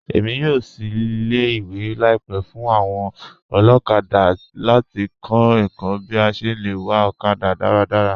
Èmi yóò ṣìí ilẹ̀-ìwé laípẹ̀ fún awọn olokada láti kọ̀ ẹ̀kọ̀ bí à ṣé lẹ wà okada daradara.